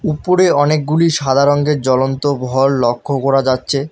উপরে অনেকগুলি সাদা রঙ্গের জ্বলন্ত ভল লক্ষ্য করা যাচ্ছে।